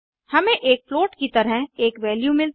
हमें एक फ्लोट की तरह एक वैल्यू मिलती है